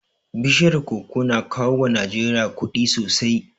Bishiyar koko na kawo wa Najeriya kuɗi sosai